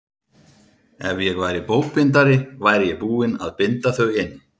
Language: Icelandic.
Ef ég væri bókbindari væri ég búinn að binda þau inn.